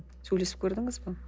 сөйлесіп көрдіңіз бе